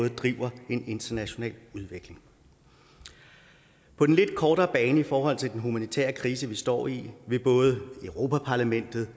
at drive en international udvikling på den lidt kortere bane i forhold til den humanitære krise vi står i vil både europa parlamentet